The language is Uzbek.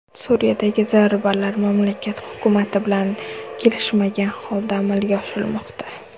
Suriyadagi zarbalar mamlakat hukumati bilan kelishilmagan holda amalga oshirilmoqda.